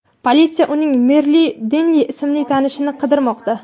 Politsiya uning Merilu Denli ismli tanishini qidirmoqda.